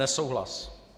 Nesouhlas.